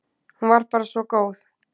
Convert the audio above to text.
Hún var bara svo góð.